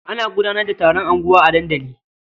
Ana gudanar da taron unguwa a dandali.